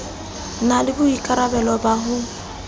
na le boikarabelo ba ho